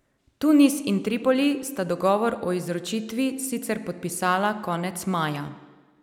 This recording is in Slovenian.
Tunis in Tripoli sta dogovor o izročitvi sicer podpisala konec maja.